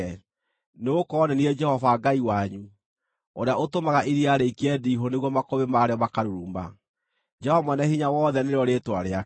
Nĩgũkorwo nĩ niĩ Jehova Ngai wanyu, ũrĩa ũtũmaga iria rĩikie ndiihũ nĩguo makũmbĩ marĩo makaruruma; Jehova Mwene-Hinya-Wothe nĩrĩo rĩĩtwa rĩake.